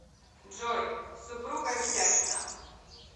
джой супруга ведяхина